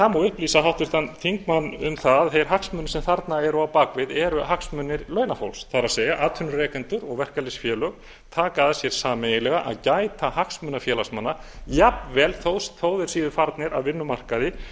það má upplýsa háttvirtan þingmann um það að þeir hagsmunir sem þarna eru á bak við eru hagsmunir launafólks það er atvinnurekendur og verkalýðsfélög taka að sér sameiginlega að gæta hagsmuna félagsmanna jafnvel þó að þeir séu farnir af vinnumarkaði